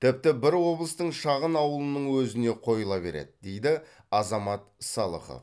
тіпті бір облыстың шағын ауылының өзіне қойыла береді дейді азамат салықов